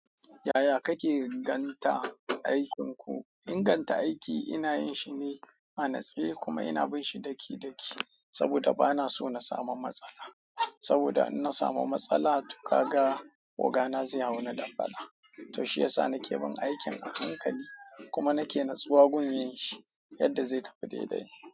Yaya kake inganta aikinku? Inganta aiki ina yinshi ne a natse kuma ina binshi daki-daki saboda bana so na samu matsala. Saboda in na samu matsala tukaga ogana zai hau ni dambala. To shiyasa nake bin aikin a hankali kuma nake natsuwa gun yinshi yadda zai tafi daidai.